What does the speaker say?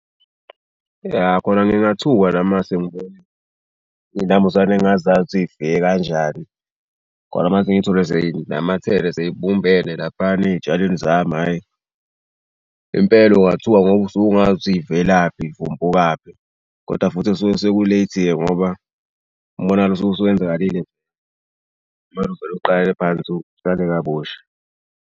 Yah kona ngingathuka nami uma ngase ngibone iy'nambuzane engingazazi yifike kanjani. Kona uma ngase ngithole sey'namathele sey'bumbene laphayana ey'tshalweni zami hhayi. Impela ungathuka ngoba usuke ungazi ukuthi yivelaphi yivumbukaphi koda futhi suke seku-late-ike ngoba umonakalo usuke usuwenzakalile. Kumele uvele uqale phansi, utshale kabusha.